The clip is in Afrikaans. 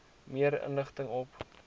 meer inligting op